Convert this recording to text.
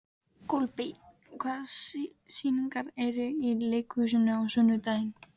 Kolbeinn, hvaða sýningar eru í leikhúsinu á sunnudaginn?